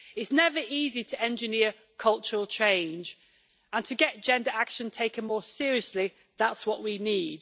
It is never easy to engineer cultural change, and to get gender action taken more seriously, that is what we need.